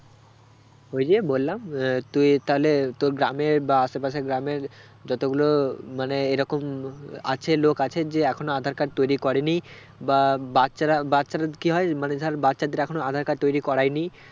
ওই যে বললাম আহ তুই তাহলে তোর গ্রামের বা আশেপাশের গ্রামের যতগুলো মানে এই রকম আছে লোক আছে যে এখনো আঁধার card তৈরী করেনি বা বাচ্ছারা বাচ্ছারা কি হয় মানে ধর বাচ্ছাদের এখনো আঁধার card তৈরী করাইনি